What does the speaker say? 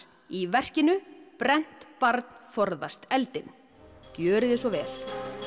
í verkinu brennt barn forðast eldinn gjörið svo vel